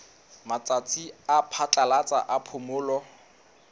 matsatsi a phatlalatsa a phomolo